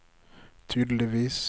tydeligvis